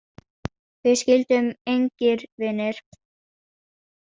Við skildum engir vinir.